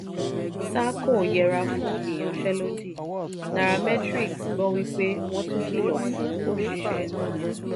sahco yẹra fún ìyanṣẹ́lódì; nairametrics gbọ́ wípé wọ́n tun kìlọ̀ fún òṣìṣẹ́.